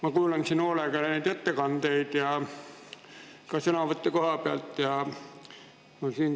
Ma kuulan siin hoolega ettekandeid ja ka sõnavõtte kohapealt.